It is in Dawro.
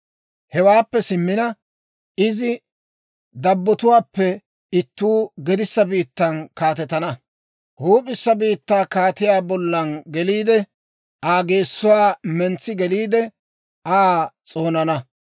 «Hewaappe simmina, izi dabbotuwaappe ittuu gedissa biittan kaatetana. Huup'issa biittaa kaatiyaa bollan geliide; Aa geessuwaa mentsi geliide, Aa s'oonana.